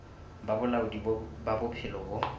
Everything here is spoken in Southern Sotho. ba bolaodi ba bophelo bo